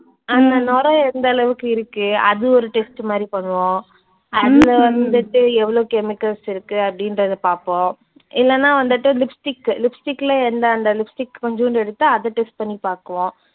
அந்த நுரை எந்தளவுக்கு இருக்கு. அது ஒரு test மாதிரி பண்ணுவோம். அதுல வந்துட்டு எவ்ளோ chemicals இருக்கு அப்படின்றதை பார்ப்போம். இல்லன்னா வந்துட்டு lipstick, lipstick ல எந்த அந்த lipstick கொஞ்சோண்டு எடுத்து அதை test பண்ணி பார்ப்போம்